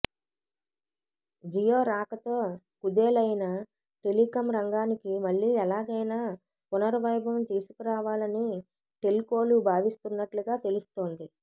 జియో రాకతో కుదేలయిన టెలికం రంగానికి మళ్లీ ఎలాగైనా పునర్ వైభవం తీసుకురావాలని టెల్కోలు భావిస్తున్నట్లుగా తెలుస్తోంది